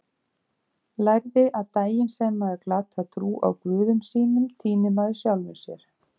Lærði að daginn sem maður glatar trú á guðum sínum týnir maður sjálfum sér.